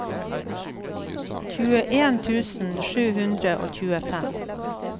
tjueen tusen sju hundre og tjuefem